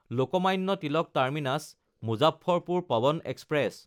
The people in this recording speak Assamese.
লোকমান্য তিলক টাৰ্মিনাছ–মুজাফ্ফৰপুৰ পৱন এক্সপ্ৰেছ